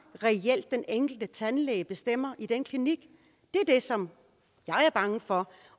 den enkelte tandlæge reelt bestemmer i den klinik det er det som jeg er bange for